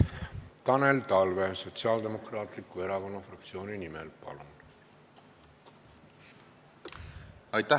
Tanel Talve Sotsiaaldemokraatliku Erakonna fraktsiooni nimel, palun!